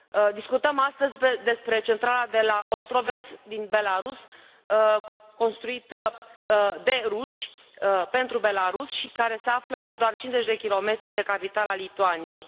Discutăm astăzi despre centrala de la Ostroveț, din Belarus, construită de ruși pentru Belarus și care se află la doar cincizeci de kilometri de capitala Lituaniei.